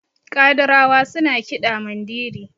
kadirawa suna kiɗa Mandiri